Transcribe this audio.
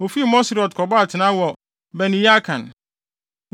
Wofii Moserot kɔbɔɔ atenae wɔ Beneyaakan.